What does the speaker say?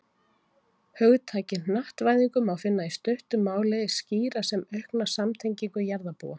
Hugtakið hnattvæðingu má í stuttu máli skýra sem aukna samtengingu jarðarbúa.